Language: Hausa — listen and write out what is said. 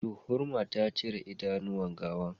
Juhurma ta cire idanuwan gawan